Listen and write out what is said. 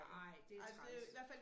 Ej, det er træls